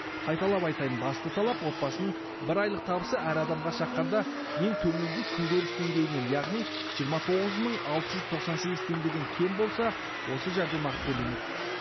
қайталап айтайын басты талап отбасының бір айлық табысы әр адамға шаққанда ең төменгі күнкөріс деңгейінен яғни жиырма тоғыз мың алты жүз тоқсан сегіз теңгеден кем болса осы жәрдемақы төленеді